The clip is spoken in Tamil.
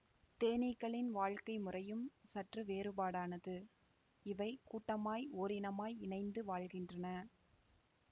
தேனீக்களின் வாழ்க்கை முறையும் சற்று வேறுபாடானது இவை கூட்டமாய் ஓரினமாய் இணைந்து வாழ்கின்றன